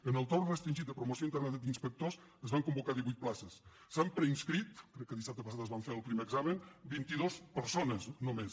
en el torn restringit de promoció interna d’inspectors es van convocar divuit places s’hi han preinscrit crec que dissabte passat se’n va fer el primer examen vint i dues persones només